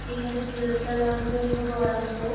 କିନ୍ତୁ ବିରକ୍ତ ଲାଗୁଛି ଏ ଗରମ କୁ